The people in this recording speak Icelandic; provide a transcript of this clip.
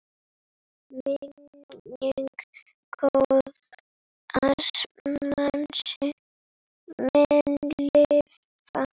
Minning góðs manns mun lifa.